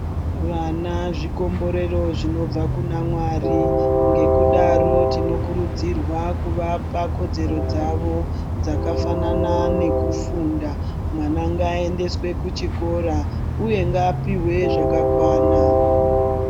Vana zvikomborero zvinobva kuna Mwari. Ngekudaro tinokurudzirwa kuvapa kodzero dzavo dzakafanana nekufunda. Mwana ngaaendeswe kuchikoro uye ngaapihwe zvakakwana.